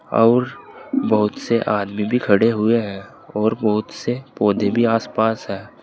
और बहुत से आदमी भी खड़े हुए हैं और बहुत से पौधे भी आसपास है।